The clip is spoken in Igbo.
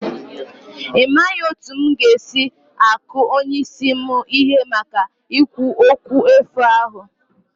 Imaghị otú m ga-esi aku onye isi m ihe maka ikwu okwu efu ahụ